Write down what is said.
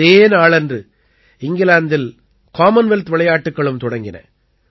இதே நாளன்று இங்கிலாந்தில் காமன்வெல்த் விளையாட்டுக்களும் தொடங்கின